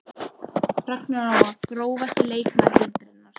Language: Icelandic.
Ragna Lóa Grófasti leikmaður deildarinnar?